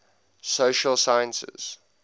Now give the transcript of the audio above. social sciences